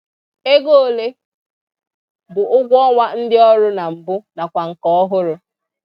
Ego ole bụ ụgwọọnwa ndị ọrụ na mbụ nakwa nke ọhụrụ?